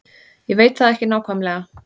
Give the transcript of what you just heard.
Ég veit það ekki nákvæmlega.